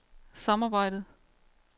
samarbejdet